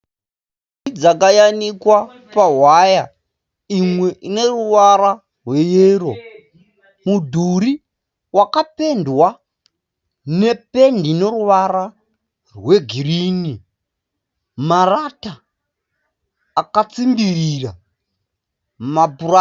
Nhumbi dzayanikwa pahwaya. Imwe ineruvara rweyero. Mudhuri wakapendwa nependi ineruvara rwegirini. Marata akatsimbirira mapuranga.